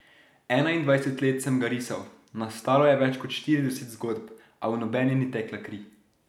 Enaindvajset let sem ga risal, nastalo je več kot štirideset zgodb, a v nobeni ni tekla kri.